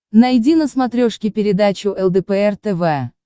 найди на смотрешке передачу лдпр тв